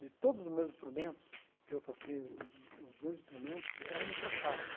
De todos os meus instrumentos que eu toquei, os os meus instrumentos eram importados.